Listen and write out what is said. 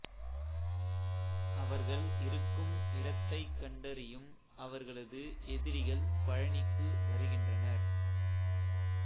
அவர்கள் இருக்கும் இடத்தைக் கண்டறியும் அவர்களது எதிரிகள் பழனிக்கு வருகின்றனர்